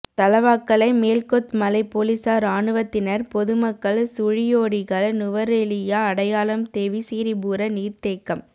தலவாக்கலை மேல் கொத்மலை பொலிஸார் இராணுவத்தினர் பொது மக்கள் சுழியோடிகள் நுவரெலியா அடையாளம் தெவீசிரிபுர நீர்தேக்கம்